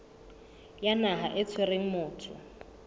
ya naha e tshwereng motho